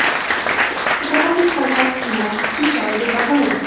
Mutaxassis qo‘lqop kiyini ortiqcha chora deb baholagan.